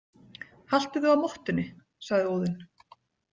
Haltu þig á mottunni, sagði Óðinn.